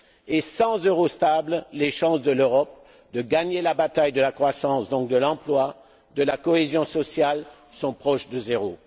Et sans euro stable, les chances de l'Europe de gagner la bataille de la croissance, et donc de l'emploi et de la cohésion sociale, sont proches de zéro.